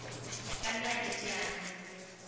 ka nna ya teteanya mobu